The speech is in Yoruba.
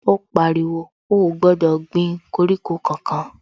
Ó pariwo, ó ò gbọ́dọ̀ gbin koríko kankan